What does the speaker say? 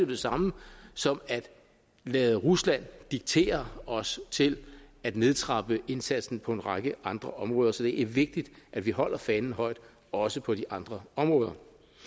det samme som at lade rusland diktere os til at nedtrappe indsatsen på en række andre områder så det er vigtigt at vi holder fanen højt også på de andre områder